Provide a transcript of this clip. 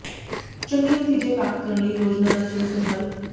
ਚੰਗੇ ਨਤੀਜੇ ਪ੍ਰਾਪਤ ਕਰਨ ਲਈ ਯੋਜਨਾ ਦਾ ਸਹੀ ਸੰਕਲਪ